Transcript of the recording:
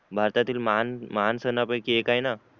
भारतातील महान महान सण पैकी एक आहे ना